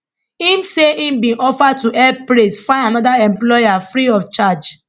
im say im bin offer to help praise find anoda employer free of charge